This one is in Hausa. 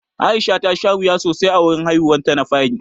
Aisha ta sha wuya sosai a wurin haihuwar ta na fari.